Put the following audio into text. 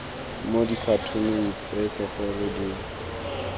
mo dikhatoneng tse segolo di